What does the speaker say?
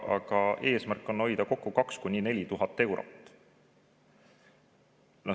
Aga eesmärk on kokku hoida 2000–4000 eurot.